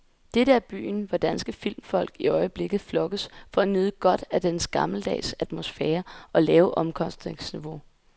Dette er byen, hvor danske filmfolk i øjeblikket flokkes for at nyde godt af dens gammeldags atmosfære og lave omkostningsniveau.